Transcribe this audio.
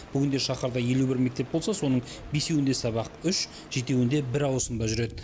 бүгінде шаһарда елу бір мектеп болса соның бесеуінде сабақ үш жетеуінде бір ауысымда жүреді